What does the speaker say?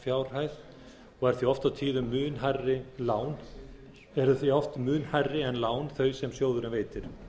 hámarkslánsfjárhæð og eru því oft og tíðum mun hærri en lán þau sem sjóðurinn veitir